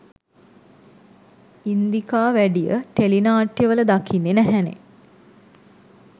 ඉන්දිකා වැඩිය ටෙලි නාට්‍යවල දකින්න නැහැනේ?